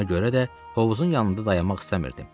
Ona görə də hovuzun yanında dayanmaq istəmirdim.